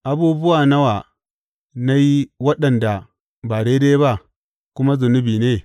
Abubuwa nawa na yi waɗanda ba daidai ba, kuma zunubi ne?